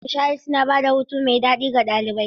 Ayyukan nishaɗi suna ba da hutu mai daɗi ga ɗalibai.